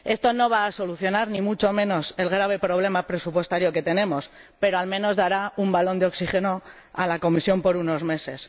Esto no va a solucionar, ni mucho menos, el grave problema presupuestario que tenemos, pero al menos dará un balón de oxígeno a la Comisión por unos meses.